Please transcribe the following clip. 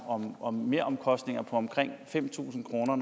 om om meromkostninger på omkring fem tusind kroner